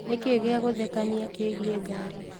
nĩ kĩĩ gĩa gũthekanĩa kĩĩgĩe ngarĩ